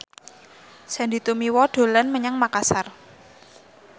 Sandy Tumiwa dolan menyang Makasar